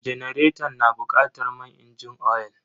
Janaretan na bukatar man inji oyal.